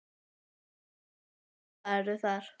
Jóhann: Og prufaðirðu þar?